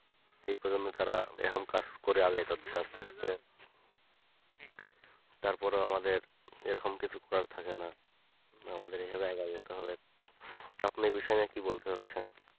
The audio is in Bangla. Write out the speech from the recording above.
সে কারনে তারা কাজ করে আগেকার তার পর ও আমাদের এ রকম কিছু করার থাকে না আমাদের এখানে আগাজেতে হয় আপনি এ বিষয়ে কি বলতে চাচ্ছেন